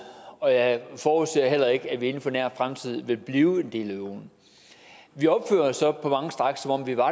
og jeg forudser heller ikke at vi inden for nær fremtid vil blive en del af euroen vi opfører os så på mange stræk som om vi var